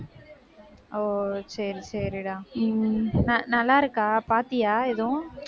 ஓ சரி, சரிடா. ந~ நல்லா இருக்கா? பார்த்தியா எதுவும்?